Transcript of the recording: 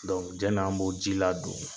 Dɔnku jɛni an b' o ji ladon.